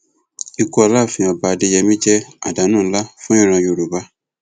ikú aláàfin ọba adéyẹmi jẹ àdánù ńlá fún ìran yorùbá